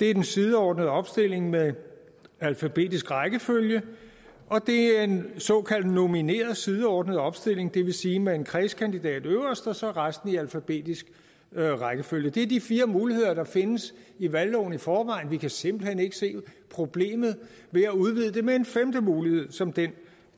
det er den sideordnede opstilling med alfabetisk rækkefølge og det er en såkaldt nomineret sideordnet opstilling det vil sige med en kredskandidat øverst og så resten i alfabetisk rækkefølge det er de fire muligheder der findes i valgloven i forvejen vi kan simpelt hen ikke se problemet ved at udvide det med en femte mulighed som den